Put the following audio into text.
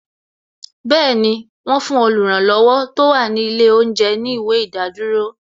Bẹẹni, wọn fún oluranlowo tó wà ní ilé oúnjẹ ní ìwé ìdádúró